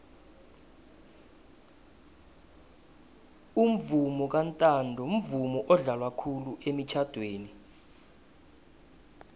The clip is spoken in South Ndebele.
umvomo kantanto mvumo odlalwa khulu emitjhadweni